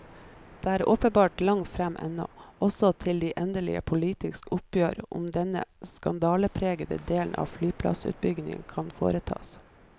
Det er åpenbart langt frem ennå, også til de endelige politiske oppgjør om denne skandalepregede del av flyplassutbyggingen kan foretas.